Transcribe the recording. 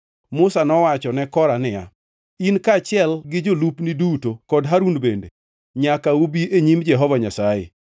Musa nowacho ne Kora niya, “In kaachiel gi jolupni duto kod Harun bende nyaka ubi e nyim Jehova Nyasaye.